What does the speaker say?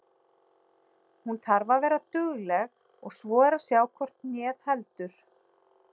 Hún þarf að vera dugleg og svo er að sjá hvort hnéð heldur.